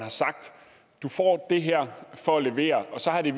får det her for at levere og så har det